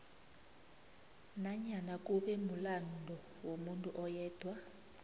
nanyana kube mulando womuntu ayedwa